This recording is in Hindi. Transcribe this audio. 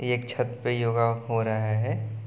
एक छत पे योगा हो रहा है ।